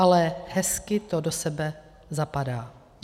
Ale hezky to do sebe zapadá.